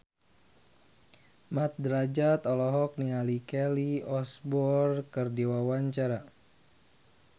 Mat Drajat olohok ningali Kelly Osbourne keur diwawancara